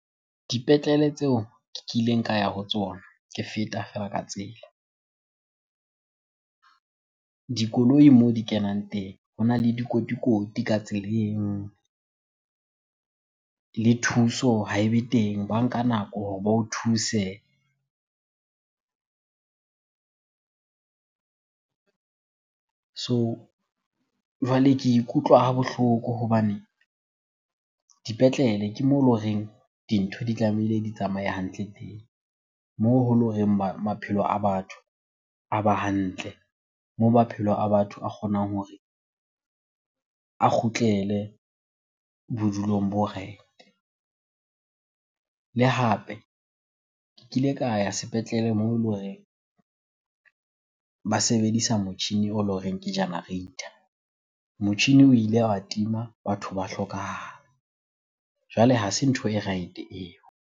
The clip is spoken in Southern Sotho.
Dipetlele tseo ke kileng ka ya ho tsona ke feta feela ka tsela. Dikoloi moo di kenang teng hona le dikotikoti ka tseleng le thuso ha ebe teng, ba nka nako hore ba o thuse. So, jwale ke ikutlwa ha bohloko hobane dipetlele ke moo ele horeng dintho di tlamehile di tsamaye hantle teng, moo ho le horeng maphelo a batho a ba hantle, moo maphelo a batho a kgonang hore a kgutlele bodulong bo right-e. Le hape ke kile ka ya sepetlele moo ele horeng ba sebedisa motjhini o le horeng ke generator. Motjhini o ile wa tima, batho ba hlokahala. Jwale ha se ntho e right-e eo.